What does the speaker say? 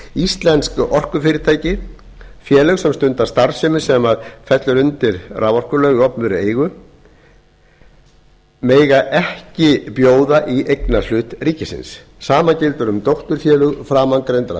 íslensk orkufyrirtæki félög sem stunda starfsemi sem fellur undir raforkulög í opinberri eigu mega ekki bjóða í eignarhlut ríkisins sama gildir um dótturfélög framangreindra